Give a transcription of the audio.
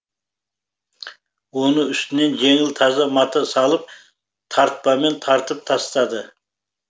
оны үстінен жеңіл таза мата салып тартпамен тартып тастады